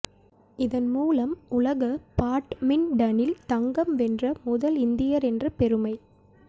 இதன் மூலம் உலக பாட்மின்டனில் தங்கம் வென்ற முதல் இந்தியர் என்ற பெருமை